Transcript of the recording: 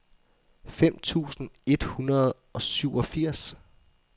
fem tusind et hundrede og syvogfirs